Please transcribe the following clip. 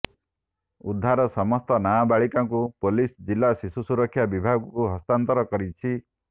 ଉଦ୍ଧାର ସମସ୍ତ ନାବାଳିକାଙ୍କୁ ପୋଲିସ ଜିଲ୍ଲା ଶିଶୁ ସୁରକ୍ଷା ବିଭାଗକୁ ହସ୍ତାନ୍ତର କରିଛି